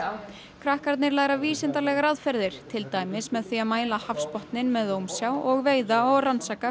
krakkarnir læra vísindalegar aðferðir til dæmis með því að mæla hafsbotninn með ómsjá og veiða og rannsaka